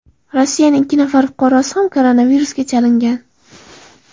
Rossiyaning ikki nafar fuqarosi ham koronavirusga chalingan.